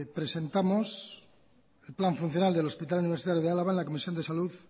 presentamos el plan funcional del hospital universitario de álava en la comisión de salud